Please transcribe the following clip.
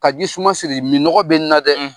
Ka ji suma siri minɔgɔ bi n na dɛ